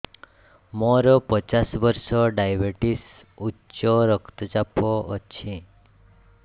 ମୋର ପଚାଶ ବର୍ଷ ଡାଏବେଟିସ ଉଚ୍ଚ ରକ୍ତ ଚାପ ଅଛି